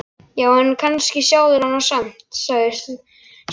Já, en kannski sjá þeir hana samt, sagði sá stutti.